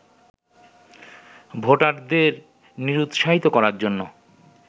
ভোটারদের নিরুৎসাহিত করার জন্য